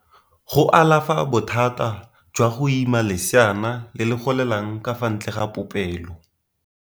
Go alafa bothata jwa go ima leseana le le golelang ka fa ntle ga popelo.